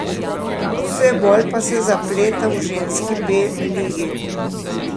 Vse bolj pa se zapleta v ženski B ligi.